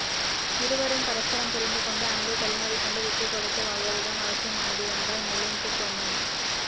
இருவரும் பரஸ்பரம் புரிந்து கொண்டு அன்பை பரிமாறிக்கொண்டு விட்டுக்கொடுத்து வாழ்வது தான் அவசியமானது என்றார் மிலிந்த் சோமன்